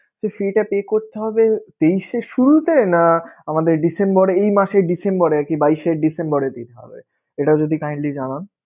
তো সেইটা pay করতে হবে তেইশের শুরুতে, না আমাদের ডিসেম্বর~ এই মাসে ডিসেম্বরে আরকি বাইশে ডিসেম্বরের দিক হবে? এটা যদি kindly জানান.